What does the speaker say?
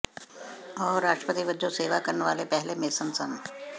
ਉਹ ਰਾਸ਼ਟਰਪਤੀ ਵਜੋਂ ਸੇਵਾ ਕਰਨ ਵਾਲੇ ਪਹਿਲੇ ਮੇਸਨ ਸਨ